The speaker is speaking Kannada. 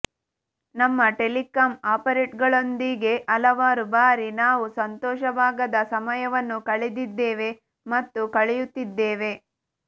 ನಮ್ಮ ಟೆಲಿಕಾಂ ಆಪರೇಟರ್ನಗಳೊಂದಿಗೆ ಹಲವಾರು ಭಾರಿ ನಾವು ಸಂತೋಷವಾಗದ ಸಮಯವನ್ನು ಕಳೆದಿದ್ದೇವೆ ಮತ್ತು ಕಳೆಯುತ್ತಿದ್ದೇವೆ